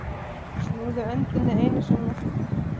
Snúðu öndinni einu sinni.